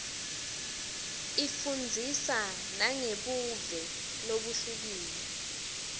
ifundzisa nangebuve lobuhlukile